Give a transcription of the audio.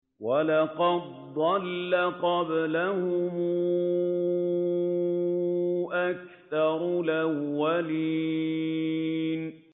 وَلَقَدْ ضَلَّ قَبْلَهُمْ أَكْثَرُ الْأَوَّلِينَ